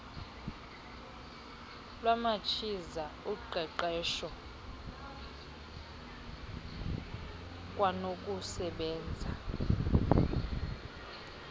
lwamachiza uqeqeswho kwanokusebenza